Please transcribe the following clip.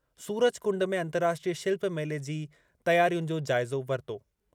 सूरजकुंड में अंतर्राष्ट्रीय शिल्प मेले जी तयारियुनि जो जाइज़ो वरितो।